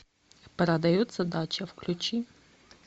продается дача включи